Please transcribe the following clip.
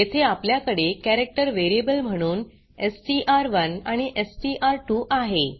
येथे आपल्याकडे character variable म्हणून एसटीआर1 आणि एसटीआर2 आहे